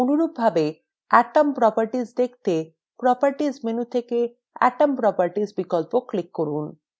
অনুরূপভাবে atom properties দেখতে: properties menu থেকে atom properties বিকল্প click করুন